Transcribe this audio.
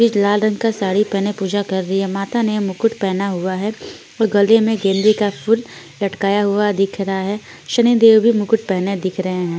इस लाल रंग का साड़ी पहने पूजा कर रही है माता ने मुकुट पहना हुआ है और गले में गेलरी का सूट लटकाया हुआ दिख रहा है शनि देव भी मुकुट पहने दिख रहे है।